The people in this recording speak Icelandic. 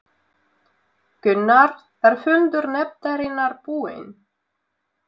Gunnar, er fundur nefndarinnar búinn?